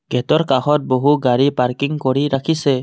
গেটৰ কাষত বহু গাড়ী পাৰ্কিং কৰি ৰাখিছে।